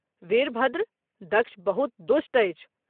वीरभद्र ! दक्ष बहुत दुष्ट अछि।